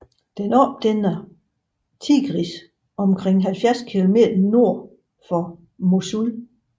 Den opdæmmer Tigris omkring 70 km nord for Mosul